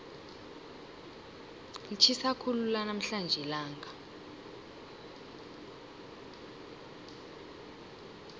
litjhisa khulu namhlanje ilanga